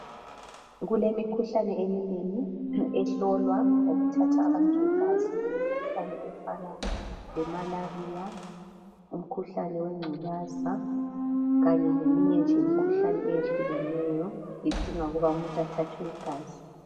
Kulemikhuhlane eminengi ehlolwa ngokuthatha abantu igazi imikhuhlane efana le Malaria, umkhuhlane wengculaza kanye leminye nje imikhuhlane eyehlukeneyo idinga ukuba umuntu athathwe igazi